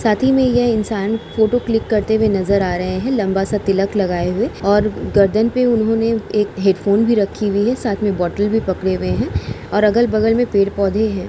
साथ ही में यह इंसान फोटो क्लिक करते हुए नजर आ रहे हैं लंबा-सा तिलक लगाए हुए और गर्दन पे उन्होंने एक हैडफ़ोन भी रखी हुई है साथ में बॉटल भी पकड़े हुए हैं और अगल-बगल में पेड़ -पौधे हैं।